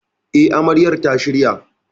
E, Amaryar ta shirya.